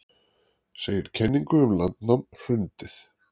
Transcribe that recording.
Segir kenningum um landnám hrundið